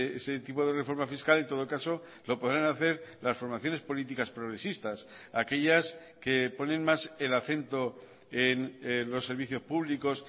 ese tipo de reforma fiscal en todo caso lo podrán hacer las formaciones políticas progresistas aquellas que ponen más el acento en los servicios públicos